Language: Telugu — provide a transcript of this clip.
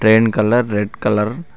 Train colour red colour .